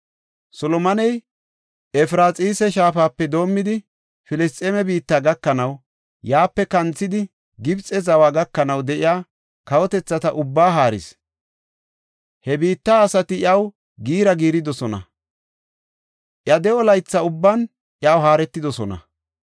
Solomoney Efraxiisa Shaafape doomidi Filisxeeme biitta gakanaw, yaape kanthidi Gibxe zawa gakanaw de7iya kawotethata ubbaa haaris. He biitta asati iyaw giira giiridosona; iya de7o laytha ubban iyaw haaretidosona.